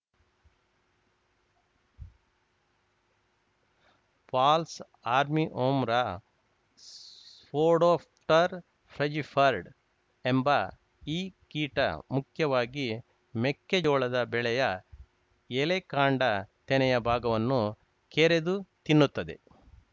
falls army worm Spodoptera frugiperda ಎಂಬ ಈ ಕೀಟ ಮುಖ್ಯವಾಗಿ ಮೆಕ್ಕೆಜೋಳದ ಬೆಳೆಯ ಎಲೆ ಕಾಂಡ ತೆನೆಯ ಭಾಗವನ್ನು ಕೆರೆದು ತಿನ್ನುತ್ತದೆ